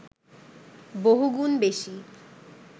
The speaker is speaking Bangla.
বহুগুণ বেশি